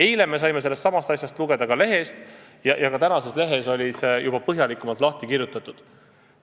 Eile me saime sellestsamast asjast lugeda ka lehest ja tänases lehes oli see juba põhjalikumalt lahti kirjutatud.